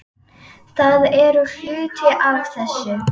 Það er hluti af þessu.